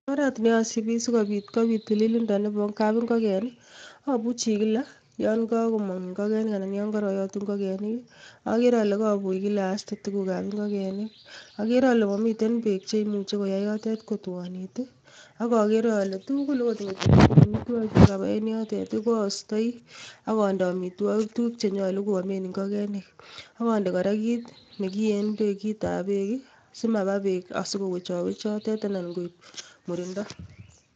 Oret neosibii sikobiit kobiit tililindoo Nebo kapingogen ko abuuchi kila, yon kokomongon ingogenik anan koyon korooyootu ingogenik agere ale kobuch kila astee tuguuk ab ingogenik. Agere ole momiten bek cheyoe yotet ko kaititit, ak maiser ingigenik beek. Ak acheng kit neyoomen ingogenik amitwogik, ak onde kora kit nekiyeen beek kitabek simabaa beek sikowech awech yotet anan koib muriindo.